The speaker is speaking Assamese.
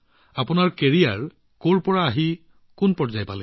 আৰু আপোনাৰ কেৰিয়াৰ কৰ পৰা কত উপনীত হৈছে